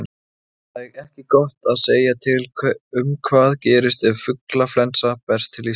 Það er ekki gott að segja til um hvað gerist ef fuglaflensa berst til Íslands.